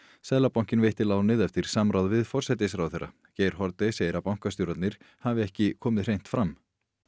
seðlabankinn veitti lánið eftir samráð við forsætisráðherra Geir Haarde segir að bankastjórarnir hafi ekki komið hreint fram